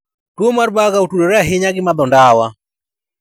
Tuwo mar Buerger otudore ahinya gi madho ndawa.